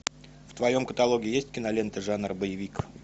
в твоем каталоге есть кинолента жанр боевик